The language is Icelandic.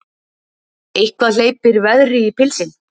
Eitthvað hleypir veðri í pilsin